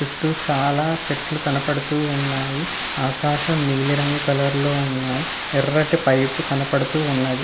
చుట్టు చాలా చెట్లు కనపడుతూ ఉన్నాయి. ఆకాశం నీలిరంగు కలర్ లో ఉన్నాయి. ఎర్రటి పైపు కనపడుతూ ఉన్నది.